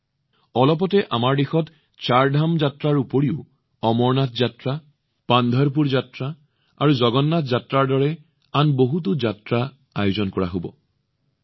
এই মুহূৰ্তত আমাৰ দেশত চাৰধাম যাত্ৰাৰ লগতে অমৰনাথ যাত্ৰা পান্ধৰপুৰ যাত্ৰা আৰু জগন্নাথ যাত্ৰাৰ দৰে বহুতো যাত্ৰা আহিব